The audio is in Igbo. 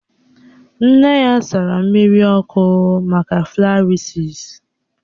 Nne ya sara mmiri ọkụ maka flarịasis